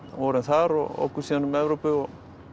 vorum þar og ókum síðan um Evrópu og